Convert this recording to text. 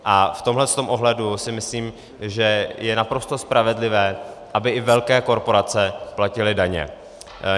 A v tomhle ohledu si myslím, že je naprosto spravedlivé, aby i velké korporace platily daně.